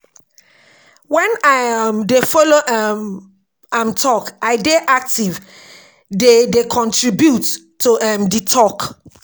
Wen I um dey folo um am tok, I dey active dey dey contribute to um di talk.